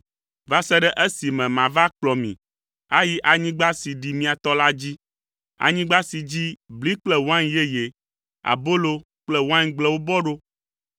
va se ɖe esime mava akplɔ mi ayi anyigba si ɖi mia tɔ la dzi, anyigba si dzi bli kple wain yeye, abolo kple waingblewo bɔ ɖo.